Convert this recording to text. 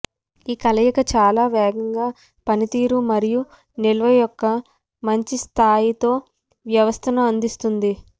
ఈ కలయిక చాలా వేగంగా పనితీరు మరియు నిల్వ యొక్క మంచి స్థాయితో వ్యవస్థను అందిస్తుంది